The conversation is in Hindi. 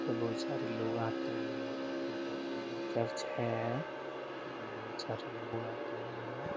इधर बहुत सारे लोग आते हैं। इधर चर्च है। इधर बहुत सारे लोग आते हैं।